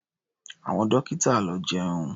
Àwọn dọ́kítà lọ jẹun.